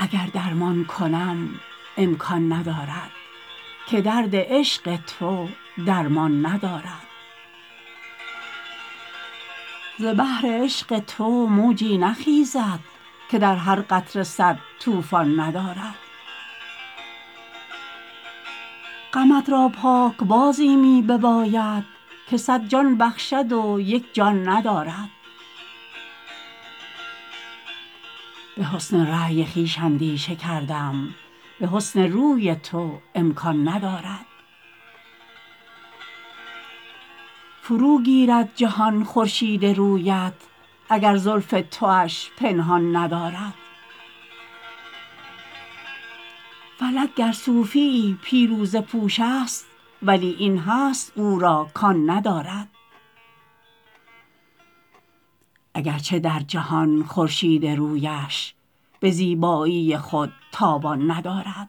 اگر درمان کنم امکان ندارد که درد عشق تو درمان ندارد ز بحر عشق تو موجی نخیزد که در هر قطره صد طوفان ندارد غمت را پاک بازی می بباید که صد جان بخشد و یک جان ندارد به حسن رای خویش اندیشه کردم به حسن روی تو امکان ندارد فروگیرد جهان خورشید رویت اگر زلف تواش پنهان ندارد فلک گر صوفییی پیروزه پوش است ولی این هست او را کان ندارد اگرچه در جهان خورشید رویش به زیبایی خود تاوان ندارد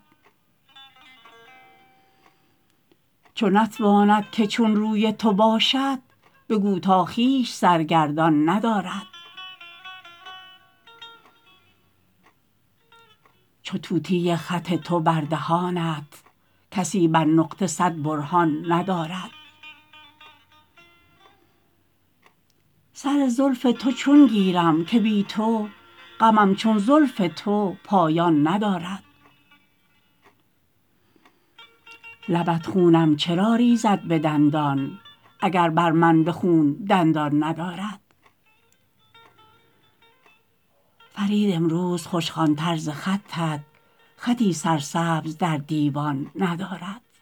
چو نتواند که چون روی تو باشد بگو تا خویش سرگردان ندارد چو طوطی خط تو بر دهانت کسی بر نقطه صد برهان ندارد سر زلف تو چون گیرم که بی تو غمم چون زلف تو پایان ندارد لبت خونم چرا ریزد به دندان اگر بر من به خون دندان ندارد فرید امروز خوش خوان تر ز خطت خطی سرسبز در دیوان ندارد